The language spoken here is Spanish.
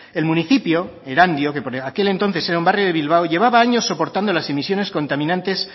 el municipio erandio que por aquel entonces era un barrio de bilbao llevaba años soportando las emisiones contaminantes